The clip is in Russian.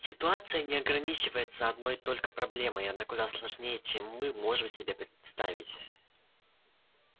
ситуация не ограничивается одной только проблемой она куда сложнее чем мы можем себе представить